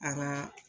A ka